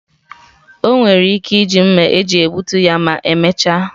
O nwere ike iji mma eji egbutu ya ma emechaa.